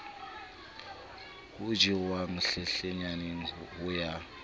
ho jewang hlenhlenyane ho ya